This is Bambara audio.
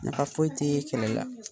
Nafa foyi tee kɛlɛ la.